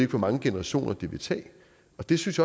hvor mange generationer det vil tage og det synes